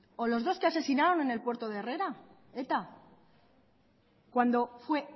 o los dos que asesinaron en el puerto de herrera eta cuando fue